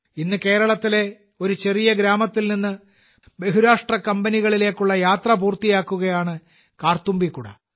ഇന്ന് കേരളത്തിലെ ഒരു ചെറിയ ഗ്രാമത്തിൽ നിന്ന് ബഹുരാഷ്ട്ര കമ്പനികളിലേക്കുള്ള യാത്ര പൂർത്തിയാക്കുകയാണ് കാർത്തുമ്പി കുട